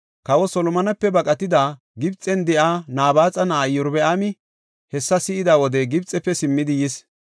Kawa Solomonepe baqatidi, Gibxen de7iya Nabaaxa na7ay Iyorbaami hessa si7ida wode Gibxefe simmidi yis.